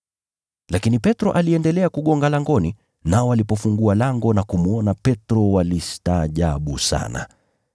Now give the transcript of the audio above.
Lakini Petro aliendelea kugonga langoni, nao walipofungua lango na kumwona Petro, walistaajabu sana.